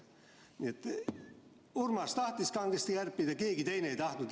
Niisiis, Urmas tahtis kangesti kärpida, aga keegi teine ei tahtnud.